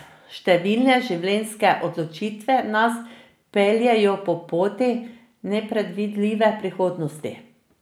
Številne življenjske odločitve nas peljejo po poti nepredvidljive prihodnosti.